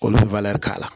Olu bɛ k'a la